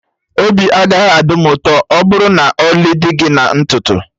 Obi agaghị adị m ụtọ ọbụrụ na ọlị dị gị na ntutu